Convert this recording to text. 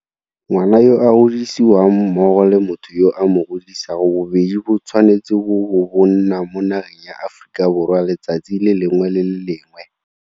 Ngwana yo a godisiwang mmogo le motho yo a mo godisang bobedi bo tshwanetse bo bo bo nna mo nageng ya Aforika Borwa letsatsi le lengwe le le lengwe.